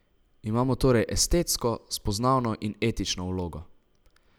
Imajo torej estetsko, spoznavno in etično vlogo.